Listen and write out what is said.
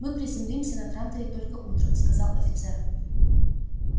мы приземлимся на транторе только утром сказал офицер